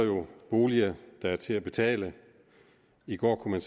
boliger der er til at betale i går kunne